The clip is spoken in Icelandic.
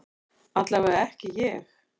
Allavega ekki ég.